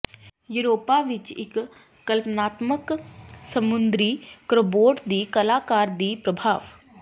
Europa ਵਿੱਚ ਇੱਕ ਕਲਪਨਾਤਮਕ ਸਮੁੰਦਰੀ ਕ੍ਰੋਬੋਟ ਦੀ ਕਲਾਕਾਰ ਦੀ ਪ੍ਰਭਾਵ